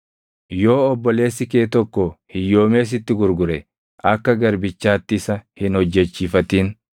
“ ‘Yoo obboleessi kee tokko hiyyoomee sitti of gurgure akka garbichaatti isa hin hojjechiifatin.